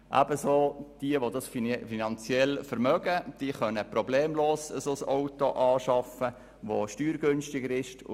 Jenen, die es sich zudem finanziell leisten können, ist es problemlos möglich, ein steuergünstigeres Auto anzuschaffen.